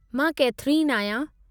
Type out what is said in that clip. मां केथरीन आहियां।